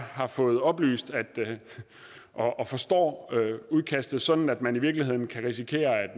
har fået oplyst og forstår udkastet sådan at man i virkeligheden kan risikere